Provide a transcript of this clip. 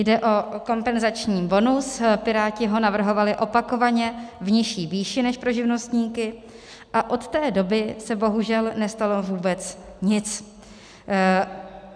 Jde o kompenzační bonus, Piráti ho navrhovali opakovaně v nižší výši než pro živnostníky, a od té doby se bohužel nestalo vůbec nic.